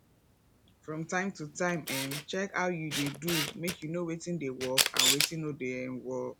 from time to time um check how you dey do make you know wetin dey work and wetin no dey um work